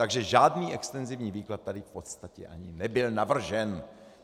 Takže žádný extenzivní výklad tady v podstatě ani nebyl navržen.